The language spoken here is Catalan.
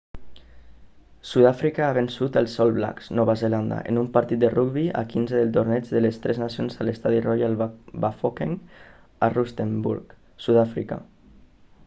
sudàfrica ha vençut als all blacks nova zelanda en un partit de rugbi a quinze del torneig de les tres nacions a l'estadi royal bafokeng a rustenburg sudàfrica